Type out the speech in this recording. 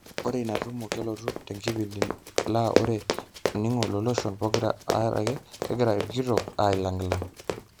Ore inatumo kelotu tenkipindi laa ore oningo loloshon pokira are kegira okitok ailangilang.